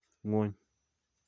ng'wony